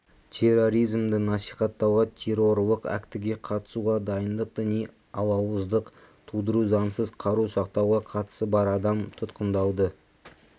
терроризмді насихаттауға террорлық актіге қатысуға дайындық діни алауыздық тудыру заңсыз қару сақтауға қатысы бар адам тұтқындалды